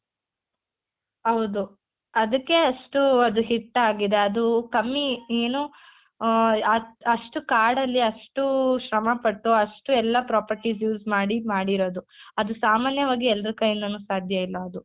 ಹೌದು ಆದಿಕ್ಕೆ ಅಷ್ಟು ಅದು hit ಆಗಿದೆ ಅದು ಕಮ್ಮಿ ಏನು ಆ ಆ ಅಷ್ಟ್ ಕಾಡಲ್ಲಿ ಅಷ್ಟು ಶ್ರಮ ಪಟ್ಟು ಅಷ್ಟು ಎಲ್ಲ properties use ಮಾಡಿ ಮಾಡಿರೋದು ಅದು ಸಾಮಾನ್ಯವಾಗಿ ಎಲ್ಲರ ಕೈಯಿಂದಾನು ಸಾಧ್ಯ ಇಲ್ಲ ಅದು .